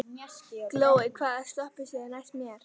Glói, hvaða stoppistöð er næst mér?